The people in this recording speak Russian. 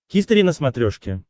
хистори на смотрешке